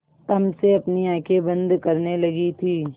तम से अपनी आँखें बंद करने लगी थी